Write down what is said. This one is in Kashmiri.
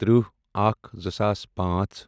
ترٕٛہ اکھَ زٕساس پانژھ